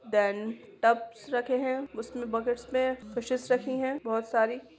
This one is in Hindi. देन टब रखे है उसमे बकेट्स में फिशेस रखी है बहुत सारी हैं।